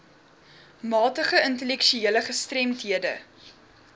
matige intellektuele gestremdhede